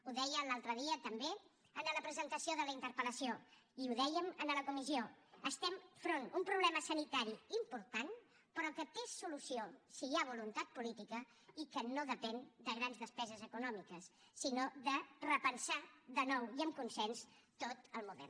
ho deia l’altre dia també en la presentació de la interpel·lació i ho dèiem en la comissió estem davant d’un problema sanitari important però que té solució si hi ha voluntat política i que no depèn de grans despeses econòmiques sinó de repensar de nou i amb consens tot el model